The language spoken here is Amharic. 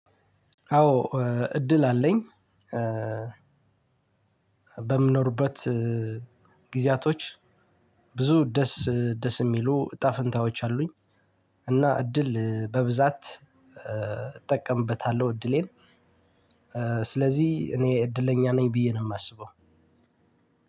አዎ እድል አለኝ። በምኖርበት ጊዜያቶች ብዙ ደስ ደስ የሚሉ እጣ ፍንታዎች አሉኝ። እና እድል በብዛት እጠቀምበታለው። እድሌን ስለዚህ እኔ እድለኛ ነኝ ብዬ ነው የማስበው።